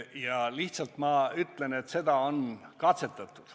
Ma aga lihtsalt ütlen, et seda on katsetatud.